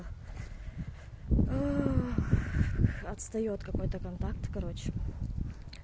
отстаёт какой-то контакт короче